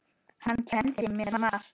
Hann kenndi mér margt.